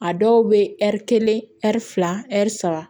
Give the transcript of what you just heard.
A dɔw bɛ ɛri kelen ɛri fila ɛri saba